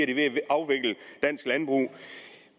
de ved at afvikle dansk landbrug